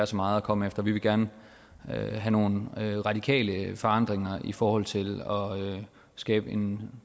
så meget at komme efter vi vil gerne have nogle radikale forandringer i forhold til at skabe en